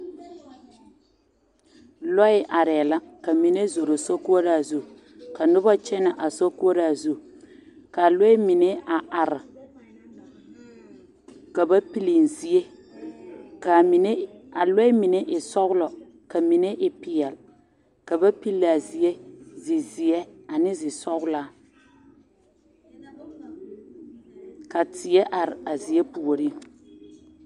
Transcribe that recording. lɔɛ are la ka mine zoro sokoora zu ka noba kyɛnnɛ a sokoora zu ka a lɔɛ mine a are ka ba pile zie ka a mine kaa lɔɛ mine e sɔglɔɔ ka mine e pɛɛle ka ba pile a zie zizeɛ ane sɔglaa ka teɛ are a zie puoriŋ